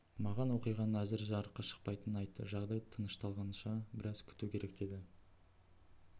маған оқиғаның әзір жарыққа шықпайтынын айтты жағдай тынышталғанша біраз күту керек деді